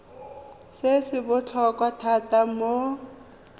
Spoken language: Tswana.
se se botlhokwa thata mo